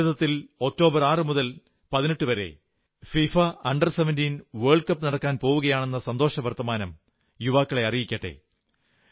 ഭാരതത്തിൽ ഒക്ടോബർ 6 മുതൽ 18 വരെ ഫിഫ അണ്ടർ 17 വേൾഡ് കപ് നടക്കാൻ പോകയാണെന്ന് സന്തോഷവർത്തമാനം യുവാക്കളെ അറിയിക്കട്ടെ